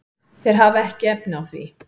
Þeir hafa ekki efni á því.